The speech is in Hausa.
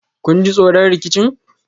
kun ji tsoron rikicin?